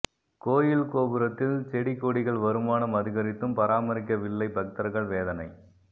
கோயில் கோபுரத்தில் செடிகொடிகள் வருமானம் அதிகரித்தும் பராமரிக்க வில்லை பக்தர்கள் வேதனை